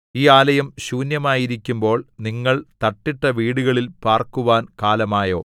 ഈ ആലയം ശൂന്യമായിരിക്കുമ്പോൾ നിങ്ങൾ തട്ടിട്ട വീടുകളിൽ പാർക്കുവാൻ കാലമായോ